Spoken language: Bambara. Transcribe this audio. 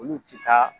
Olu ti taa